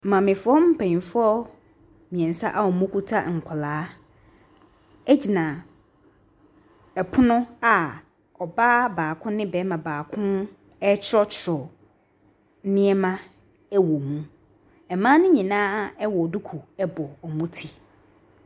Maamefoɔ mpanimfoɔ mmeɛnsa a wɔkuta nkwadaa gyina pono a ɔbaa baako ne barima baako retwerɛtwerɛ nneɛma wɔ mu. Mmaa no nyinaa wɔ duku bɔ wɔn ti.